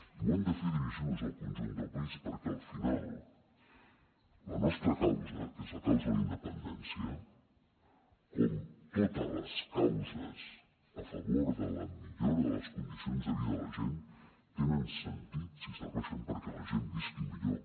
i ho hem de fer dirigint nos al conjunt del país perquè al final la nostra causa que és la causa de la independència com totes les causes a favor de la millora de les condicions de vida de la gent tenen sentit si serveixen perquè la gent visqui millor